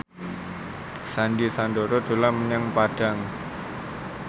Sandy Sandoro dolan menyang Padang